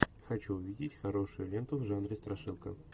хочу увидеть хорошую ленту в жанре страшилка